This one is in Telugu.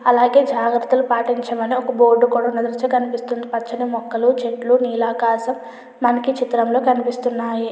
అలాగే జాగ్రత్తలు పాటించమని ఒక బోర్డు కూడా మనకి కనిపిస్తుంది. పచ్చని మొక్కలు చెట్లు నీలాకాశం మనకి చిత్రంలో అనిపిస్తున్నాయి.